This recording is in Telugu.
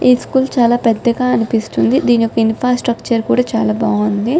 ఈ స్కూల్ చాల పెద్దగా అనిపిస్తోంది. ధీని యొక్క ఇన్‌ఫ్రాస్ట్రక్చర్ కూడా చాలా బాగుంది.